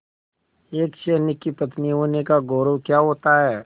एक सैनिक की पत्नी होने का गौरव क्या होता है